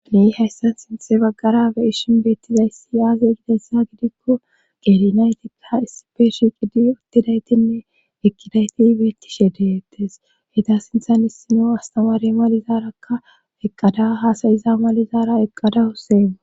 Nu hayssan sinthe baggara be ishin beettizayssi yaaze gidayssa gidikko qerinayti a isipeshi qidi uttidaytinne ekkidayti beettishe deettes heda sinthan issino astamaare malizaarakka eqqada haasayiza malizaara eqqadawuseeu.